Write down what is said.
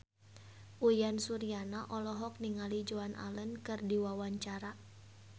Uyan Suryana olohok ningali Joan Allen keur diwawancara